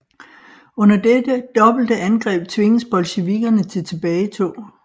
Under dette dobbelte angreb tvinges bolsjevikkerne til tilbagetog